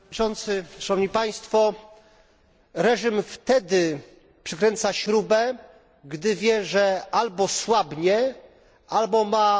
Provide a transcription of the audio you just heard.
Reżim wtedy przykręca śrubę, gdy wie, że albo słabnie, albo ma poczucie całkowitej bezkarności.